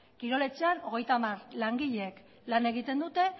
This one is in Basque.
kirol etxean hogeita hamar langileek lan egiten dute